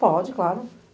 Pode, claro.